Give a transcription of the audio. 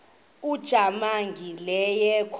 ujamangi le yakoba